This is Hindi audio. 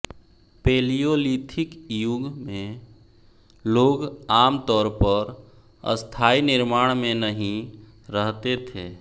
पेलियोलिथिक युग में लोग आम तौर पर स्थायी निर्माण में नहीं रहते थे